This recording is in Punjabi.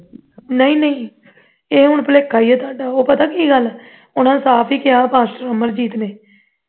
ਨਹੀਂ ਨਹੀਂ ਇਹ ਹੁਣ ਭੁਲੇਖਾ ਹੀ ਹੈ ਤੁਹਾਡਾ ਉਹ ਪਤਾ ਕੀ ਗੱਲ ਉਨ੍ਹਾਂ ਨੇ ਸਾਫ ਹੀ ਕਿਹਾ ਪਾਸਚਰ ਅਮਰਜੀਤ ਨੇ